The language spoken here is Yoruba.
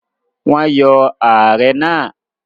Wọ́n yọ ààrẹ náà?